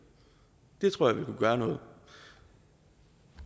det tror jeg ville gøre noget